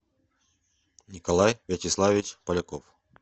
николай вячеславович поляков